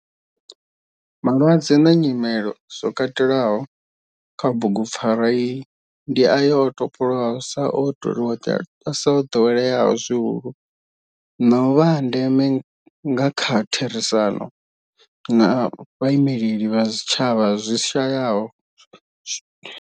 Malwadze na nyimele zwo katelwaho kha bugu pfarwa iyi ndi ayo o topolwaho sa o doweleaho zwihulu na u vha a ndeme nga kha therisano na vhaimeleli vha zwitshavha zwi shayaho.